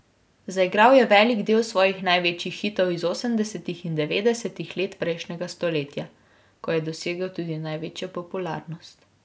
Zaigral je velik del svojih največjih hitov iz osemdesetih in devetdesetih let prejšnjega stoletja, ko je dosegel tudi največjo popularnost.